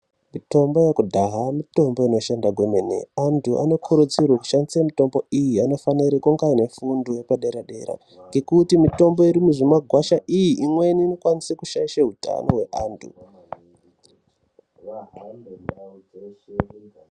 Mitombo yekudhaya mitombo inoshanda kwemene antu anokuridzirwa kushandisa mutombo iyi anofanirwa kunge vanefundo yepaderadera nekuti mutombo iri mumakwasha imweni inokwanisa kushaisha hutano hweantu